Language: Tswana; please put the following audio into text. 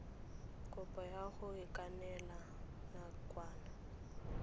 kopo ya go ikanela nakwana